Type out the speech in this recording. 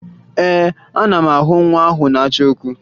Ee, ana m ahụ nwa ahụ na-achọ okwu